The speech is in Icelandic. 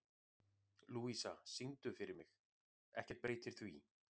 Lúísa, syngdu fyrir mig „Ekkert breytir því“.